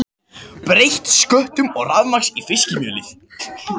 Breyta sköttum og rafmagn í fiskimjölið